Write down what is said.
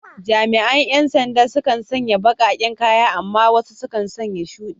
Jami’an ‘yan sanda sukan sanya baƙaƙen kaya amma wasu suna sanya shudi.